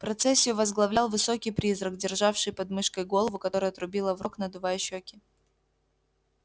процессию возглавлял высокий призрак державший под мышкой голову которая трубила в рог надувая щеки